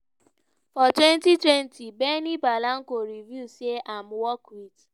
for 2020 benny blanco reveal say im work wit